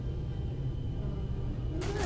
অ'..... কি বা